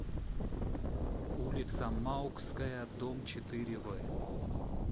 улица маукская дом четыре в